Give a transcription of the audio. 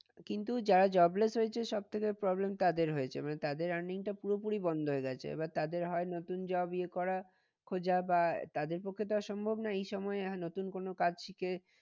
কিন্তু যারা jobless হয়েছে তাদের সব থেকে problem তাদের হয়েছে মানে তাদের earning টা পুরোপুরি বন্ধ হয়ে গেছে। এবার তাদের হয় নতুন job ইয়ে করা খোঁজা বা তাদের পক্ষে তো আর সম্ভব নয় এই সময় আর নতুন কোনো কাজ শিখে